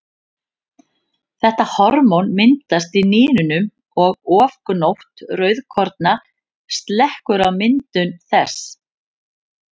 Þetta hormón myndast í nýrunum og ofgnótt rauðkorna slekkur á myndun þess.